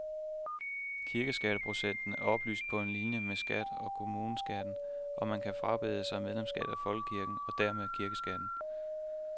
Kirkeskatteprocenten er oplyst på linie med stat og kommuneskatten, og man kan frabede sig medlemskab af folkekirken og dermed kirkeskatten.